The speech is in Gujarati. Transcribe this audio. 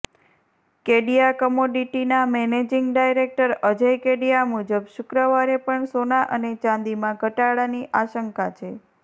કેડિયા કમોડિટીના મેનેજીંગ ડાયરેક્ટર અજય કેડિયા મુજબ શુક્રવારે પણ સોના અને ચાંદીમાં ઘટાડાની આશંકા છે